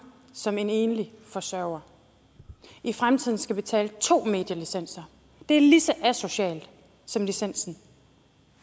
som en enlig forsørger i fremtiden skal betale to medielicenser er lige så asocialt som licensen